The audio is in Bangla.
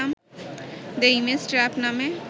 দ্যা ইমেজ ট্রাপ নামে